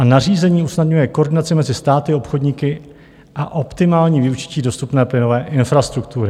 A nařízení usnadňuje koordinaci mezi státy, obchodníky a optimální využití dostupné plynové infrastruktury.